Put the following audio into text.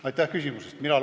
Aitäh küsimuse eest!